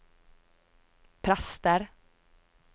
prester